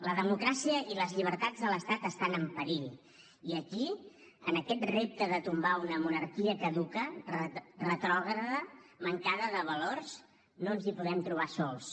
la democràcia i les llibertats de l’estat estan en perill i aquí en aquest repte de tombar una monarquia caduca retrògrada mancada de valors no ens hi podem trobar sols